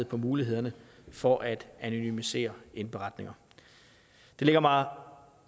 på mulighederne for at anonymisere indberetninger det ligger mig